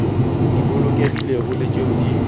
di bolokegilego le tšeo di